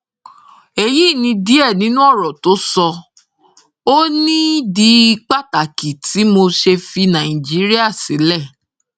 èyí ni díẹ nínú ọrọ tó sọ ọ nídìí pàtàkì tí mo ṣe fi nàìjíríà sílẹ